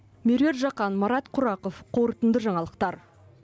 меруерт жақан марат құрақов қорытынды жаңалықтар